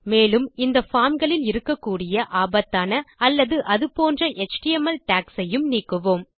மேலும் இந்த பார்ம் களில் இருக்கக்கூடிய ஆபத்தான அல்லது அது போன்ற எச்டிஎம்எல் டாக்ஸ் ஐயும் நீக்குவோம்